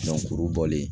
kuru bɔlen